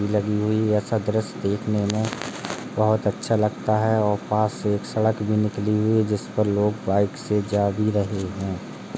लगी हुइ ऐसा दृश्य देखने में बहुत अच्छा लगता है और पास से एक सड़क भी निकली हुई है जिस पर लोग बाइक से जा भी रहे हैं।